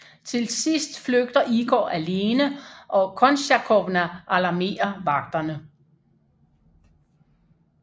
Til sidst flygter Igor alene og Kontsjakovna alarmerer vagterne